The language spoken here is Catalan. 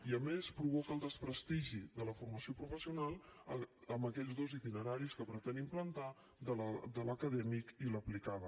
i a més provoca el desprestigi de la formació professional en aquells dos itineraris que pretén implantar de l’acadèmic i l’aplicada